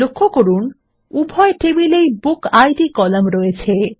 লক্ষ্য করুন উভয় টেবিল এর বুকিড কলাম রয়েছে